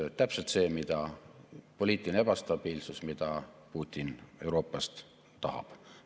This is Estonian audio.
See on täpselt see poliitiline ebastabiilsus, mida Putin Euroopas tahab.